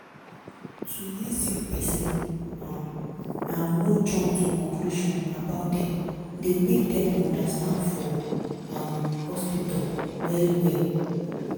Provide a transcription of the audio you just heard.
to hear sick pesin um and no jump to conclusion about dem dey make dem understand for um hospitol well well